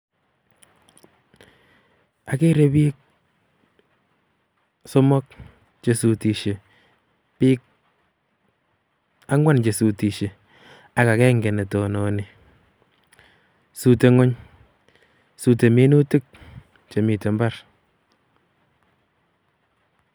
ageere book somok chesutisyee, book angwan chesutisyee ak agenge netononi. Sute ngwony sute minutiik chemi imbar